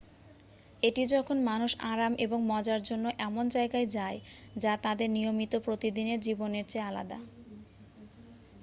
এটি যখন মানুষ আরাম এবং মজার জন্য এমন জায়গায় যায় যা তাদের নিয়মিত প্রতিদিনের জীবনের চেয়ে আলাদা